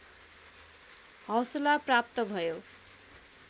हौसला प्राप्त भयो